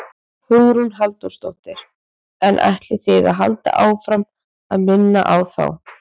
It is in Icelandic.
Hugrún Halldórsdóttir: En ætlið þið að halda áfram að minna þá á?